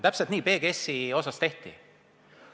Täpselt nii PGS-i puhul tehti.